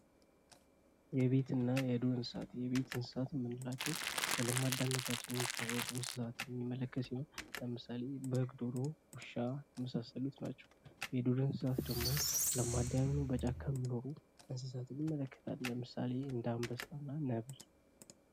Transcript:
የቤትና የዱር እንስሳት የቤት እንስሳት የምንላቸው በለመዳንነታቸው የሚታወቁ እንስሳትን የሚመለከት ሲሆን ለምሳሌ በግ፥ ዶሮ፥ ውሻ የመሳሰሉት ናቸው። የዱር እንስሳት ደሞ ለማዳ ያልሆኑ በጨካ የሚኖሩ እንስሳቶችን ይመለከታለን ለምሳሌ አንበሳና ነብር።